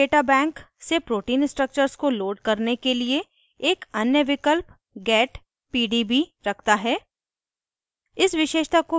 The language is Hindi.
यह protein data bank से protein structures को load करने के लिए एक अन्य विकल्प get pdb रखता है